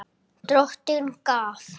Drottin gaf.